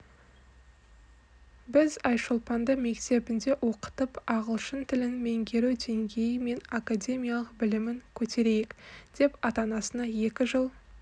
біз айшолпанды мектебінде оқытып ағылшын тілін меңгеру деңгейі мен академиялық білімін көтерейік деп ата-анасына екі жыл